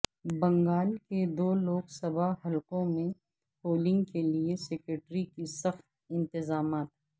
بنگال کے دو لوک سبھا حلقوں میں پولنگ کے لئے سیکورٹی کے سخت انتظامات